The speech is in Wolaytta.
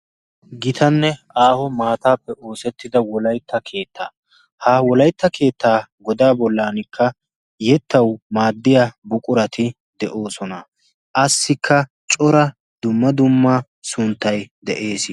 Gitanne aaho maataappe oosettida wolaytta keettaa ha wolaitta keettaa godaa bollankka yettau maaddiya buqurati de'oosona. assikka cora dumma dumma sunttai de'ees.